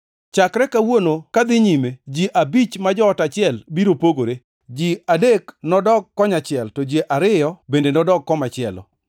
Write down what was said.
Chakre kawuono kadhi nyime ji abich ma joot achiel biro pogore, ji adek odok kon achiel to ji ariyo bende nodog komachielo.